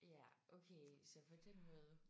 Ja okay så på den måde